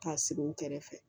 K'a sigi u kɛrɛfɛ